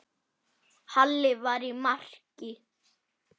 Halli var í marki.